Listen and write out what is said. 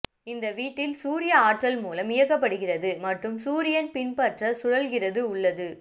இந்த வீட்டில் சூரிய ஆற்றல் மூலம் இயக்கப்படுகிறது மற்றும் சூரியன் பின்பற்ற சுழல்கிறது உள்ளது